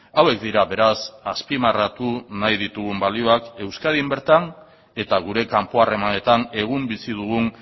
hauek dira beraz azpimarratu nahi ditugun balioak euskadin bertan eta gure kanpo harremanetan egun bizi dugun